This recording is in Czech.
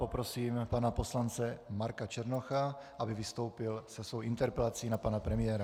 Poprosím pana poslance Marka Černocha, aby vystoupil se svou interpelací na pana premiéra.